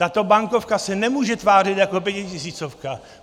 Tato bankovka se nemůže tvářit jako pětitisícovka.